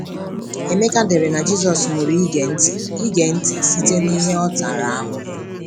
Emeka dere na Jisọs “mụrụ ịge nti ịge nti site n’ihe ọ um tara ahụhụ.”